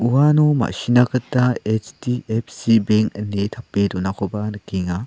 uano ma·sina gita H_D_F_C benk ine tape donakoba nikenga.